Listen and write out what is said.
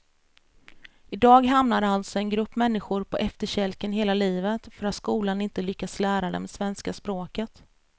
I dag hamnar alltså en grupp människor på efterkälken hela livet för att skolan inte lyckats lära dem svenska språket.